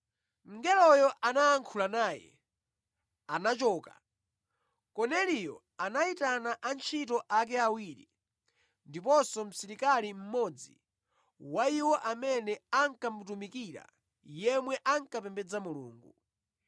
Mngeloyo anayankhula naye anachoka, Korneliyo anayitana antchito ake awiri ndiponso msilikali mmodzi wa iwo amene ankamutumikira yemwe ankapembedza Mulungu.